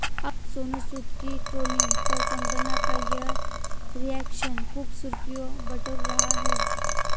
अब सोनू सूद की ट्रोलिंग पर कंगना का ये रिएक्शन खूब सुर्खियां बटोर रहा है